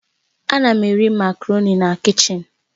Ana m eri macaroni na kichin